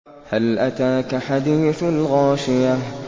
هَلْ أَتَاكَ حَدِيثُ الْغَاشِيَةِ